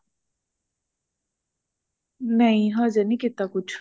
ਨਹੀਂ ਹਜੇ ਨੀ ਕੀਤਾ ਕੁੱਛ